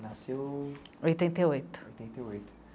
Nasceu... Oitenta e oito. Oitenta e oito.